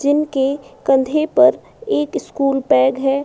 जिन के कंधे पर एक स्कूल बैग है।